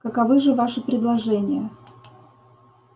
каковы же ваши предложения